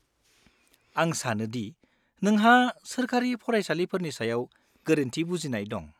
-आं सानो दि नोंहा सोरखारि फरायसालिफोरनि सायाव गोरोन्थि बुजिनाय दं।